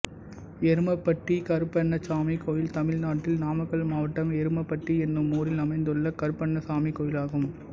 எருமப்பட்டி கருப்பண்ணசாமி கோயில் தமிழ்நாட்டில் நாமக்கல் மாவட்டம் எருமப்பட்டி என்னும் ஊரில் அமைந்துள்ள கருப்பண்ணசாமி கோயிலாகும்